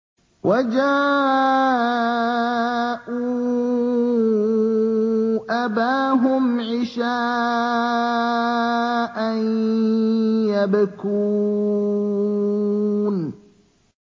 وَجَاءُوا أَبَاهُمْ عِشَاءً يَبْكُونَ